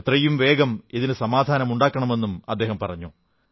എത്രയും വേഗം ഇതിന് സമാധാനം ഉണ്ടാക്കണമെന്നും പറഞ്ഞു